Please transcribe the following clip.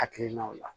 Hakilinaw la